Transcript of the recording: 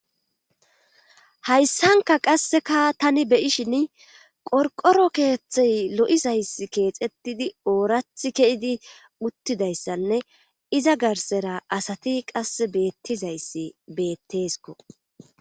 hayssanka qasseka tani be'ishin qorqoro keeththey lo7izays keexetidi oorath ke7idi uttidayssanne iza garsera asati qas beettizayssi beettes